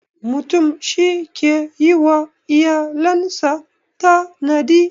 Mutum shi ke yi wa iyalan sa tanadi.